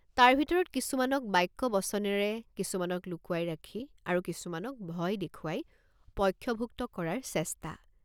তাৰ ভিতৰত কিছুমানক বাক্যবচনেৰে কিছুমানক লুকুৱাই ৰাখি আৰু কিছুমানক ভয় দেখুৱাই পক্ষভুক্ত কৰাৰ চেষ্টা।